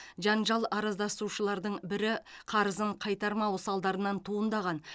жанжал араздасушылардың бірі қарызын қайтармау салдарынан туындаған